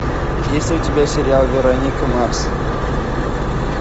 есть ли у тебя сериал вероника марс